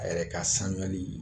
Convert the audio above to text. A yɛrɛ ka sanuyali ye